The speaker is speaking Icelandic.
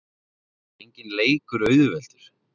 Það er auðvitað enginn leikur auðveldur.